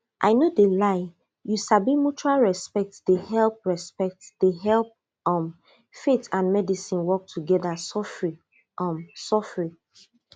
i no de lie you sabi mutual respect de help respect de help um faith and medicine work together sofri um sofri